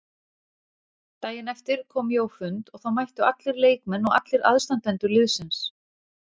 Daginn eftir kom ég á fund og þá mættu allir leikmenn og allir aðstandendur liðsins.